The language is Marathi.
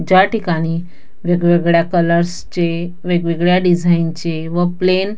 ज्या ठिकाणी वेगवेगळ्या कलर्स चे वेगवेगळ्या डिझाईन चे व प्लेन --